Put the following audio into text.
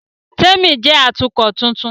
Témi jẹ́ Atukọ̀ tuntun